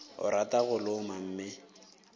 o rata go loma mme